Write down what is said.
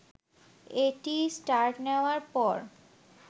এটি স্টার্ট নেয়ার পর